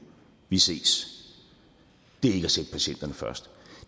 vi ses det er ikke at sætte patienterne først